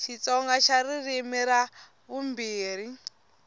xitsonga xa ririmi ra vumbirhi